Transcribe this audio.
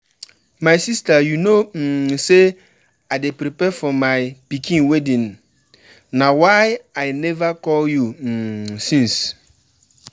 My sister you no um say I dey prepare for my pikin wedding na why I never call you um since